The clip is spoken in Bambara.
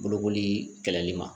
Bolokoli kɛlɛli ma